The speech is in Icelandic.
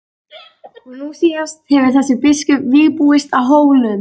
Og nú síðast hefur þessi biskup vígbúist á Hólum.